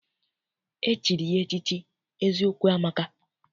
E chiri ya echichi Eziokwu amaka